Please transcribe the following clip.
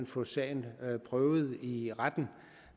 få sagen prøvet i retten